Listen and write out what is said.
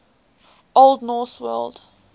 old norse word